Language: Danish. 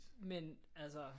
Men altså